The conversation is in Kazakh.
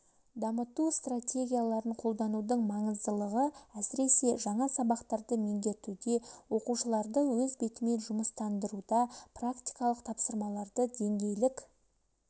дамыту стратегияларын қолданудың маңыздылығы әсіресе жаңа сабақтарды меңгертуде оқушыларды өз бетімен жұмыстандыруда практикалық тапсырмаларды деңгейлік